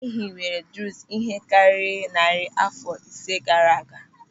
E hiwere Druuz ihe karịrị narị àfọ isii gaara aga.